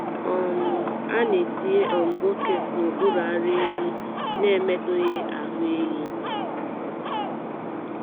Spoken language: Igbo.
um A na-etinye um bọket n’okpuru ara ehi n’emetụghị ahụ ehi.